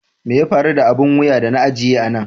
Mai ya faru da abin wuya da na ajiye a nan?